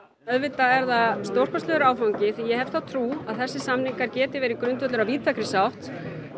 auðvitað er það stórkostlegur áfangi því ég hef þá trú að þessir samningar geti verið grundvöllur að víðtækri sátt